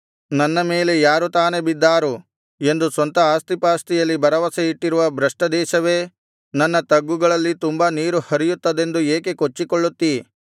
ನನ್ನ ಮೇಲೆ ಯಾರು ತಾನೆ ಬಿದ್ದಾರು ಎಂದು ಸ್ವಂತ ಆಸ್ತಿಪಾಸ್ತಿಯಲ್ಲಿ ಭರವಸೆ ಇಟ್ಟಿರುವ ಭ್ರಷ್ಟದೇಶವೇ ನನ್ನ ತಗ್ಗುಗಳಲ್ಲಿ ತುಂಬಾ ನೀರು ಹರಿಯುತ್ತದೆಂದು ಏಕೆ ಕೊಚ್ಚಿಕೊಳ್ಳುತ್ತೀ